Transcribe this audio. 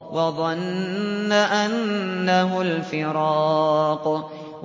وَظَنَّ أَنَّهُ الْفِرَاقُ